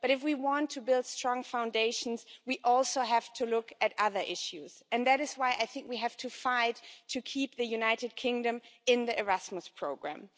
But if we want to build strong foundations, we also have to look at other issues, and that is why I think we have to fight to keep the United Kingdom in the Erasmus programme.